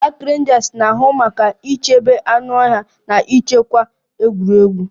Park Rangers na-ahụ maka ichebe anụ ọhịa na nchekwa egwuregwu